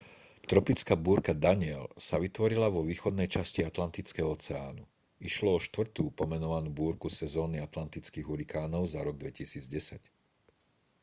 tropická búrka danielle sa vytvorila vo východnej časti atlantického oceánu išlo o štvrtú pomenovanú búrku sezóny atlantických hurikánov za rok 2010